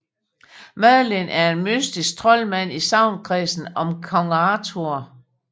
Merlin er en mystisk troldmand i sagnkredsen om Kong Arthur